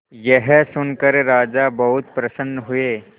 यह सुनकर राजा बहुत प्रसन्न हुए